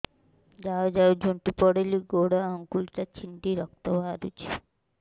ଯାଉ ଯାଉ ଝୁଣ୍ଟି ପଡ଼ିଲି ଗୋଡ଼ ଆଂଗୁଳିଟା ଛିଣ୍ଡି ରକ୍ତ ବାହାରୁଚି